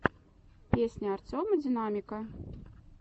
песня артема динамика